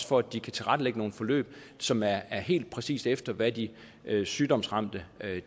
for at de kan tilrettelægge nogle forløb som er helt præcis efter hvad de sygdomsramte